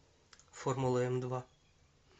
формула эмдва